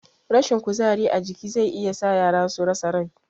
Rashin kuzari a jiki zai iya sa yara su rasa rai